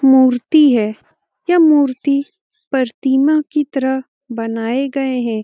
मूर्ति है। यह मूर्ति प्रतिमा की तरह बनाए गए हैं।